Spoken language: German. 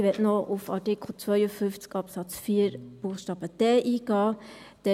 Ich möchte noch auf Artikel 52 Absatz 4 Buchstabe d eingehen.